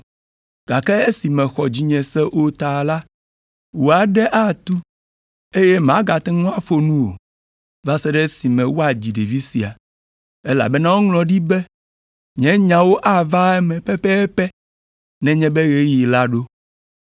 gake esi mèxɔ dzinye se o ta la, wò aɖe atu, eye màgate ŋu aƒo nu o, va se ɖe esime woadzi ɖevi sia. Elabena woŋlɔ ɖi be nye nyawo ava eme pɛpɛpɛ nenye be ɣeyiɣi la ɖo.”